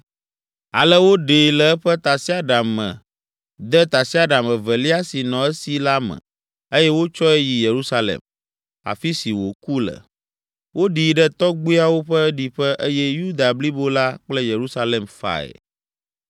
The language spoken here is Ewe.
Ale woɖee le eƒe tasiaɖam me de tasiaɖam evelia si nɔ esi la me eye wotsɔe yi Yerusalem, afi si wòku le. Woɖii ɖe tɔgbuiawo ƒe ɖiƒe eye Yuda blibo la kple Yerusalem fae.